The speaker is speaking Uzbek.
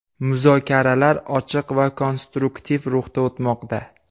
Muzokaralar ochiq va konstruktiv ruhda o‘tmoqda.